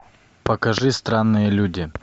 покажи странные люди